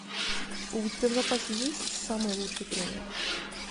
у тебя в запасе есть самый лучший тренер